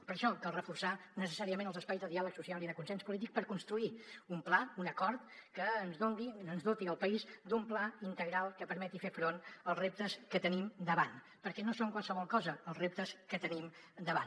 per això cal reforçar necessàriament els espais de diàleg social i de consens polític per construir un pla un acord que ens doti el país d’un pla integral que permeti fer front als reptes que tenim davant perquè no són qualsevol cosa els reptes que tenim davant